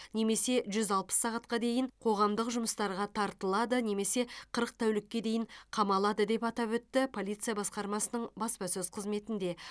немесе жүз алпыс сағатқа дейін қоғамдық жұмыстарға тартылады немесе қырық тәулікке дейін қамалады деп атап өтті полиция басқармасының баспасөз қызметінде